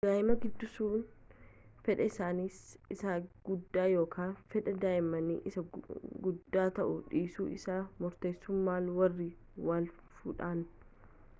daa'ima guddisuu fedha isaanii isa guddaa yookaan fedha daa'immanii isa guddaa ta'uu dhiisuu isaa murteessuu malu warri wal fuudhan